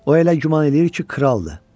O elə güman eləyir ki, kraldır.